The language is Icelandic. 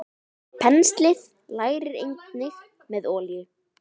Penslið lærið einnig með olíu.